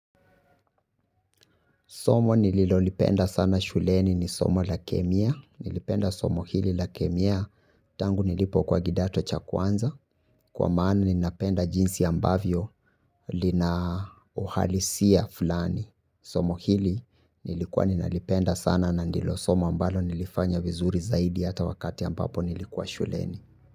Somo nililolipenda sana shuleni ni somo la kemia. Nilipenda somo hili la kemia tangu nilipo kwa kidato cha kwanza. Kwa maana ninapenda jinsi ambavyo lina uhalisia fulani. Somo hili nilikuwa ninalipenda sana na ndilo somo ambalo nilifanya vizuri zaidi hata wakati ambapo nilikuwa shuleni.